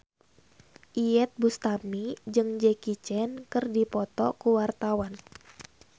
Iyeth Bustami jeung Jackie Chan keur dipoto ku wartawan